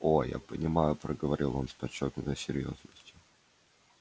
о я понимаю проговорил он с подчёркнутой серьёзностью